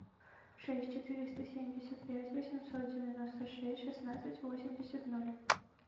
шесть четыреста семьдесят пять восемьсот девяносто шесть шестнадцать восемьдесят ноль